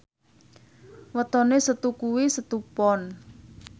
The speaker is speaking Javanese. wetone Setu kuwi Setu Pon